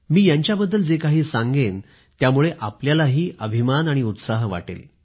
मी यांच्याबद्दल जे काही सांगेन त्यामुळे तुम्हीसुद्धा अभिमान आणि उत्साहाने भरून जाल